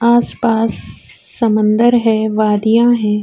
اس پاس سمندر ہے۔ واڈیا ہے۔